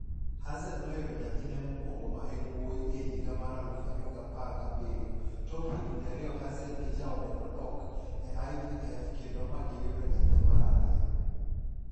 Hazel noyudo nyathine mokwongo ma en wuyi e higa mar 2017-tok higni ariyoHazel gi jaode nodok e IVF kendo ma gi yudo nyathi mar ariyo.